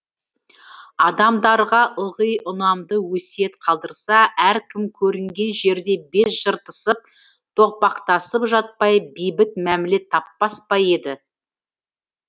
адамдарға ылғи ұнамды өсиет қалдырса әркім көрінген жерде бет жыртысып тоқпақтасып жатпай бейбіт мәміле таппас па еді